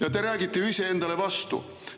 Ja te räägite ju iseendale vastu!